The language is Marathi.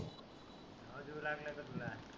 येऊ लागला का तुला?